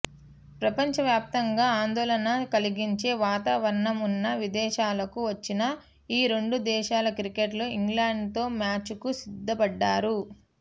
ప్రపంచవ్యాప్తంగా ఆందోళన కలిగించే వాతావరణం ఉన్నా విదేశాలకు వచ్చిన ఈ రెండు దేశాల క్రికెటర్లు ఇంగ్లాండ్తో మ్యాచ్లకు సిద్ధపడ్డారు